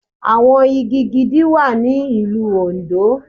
Àwọn igi gidi wà ní ìlú Òndó.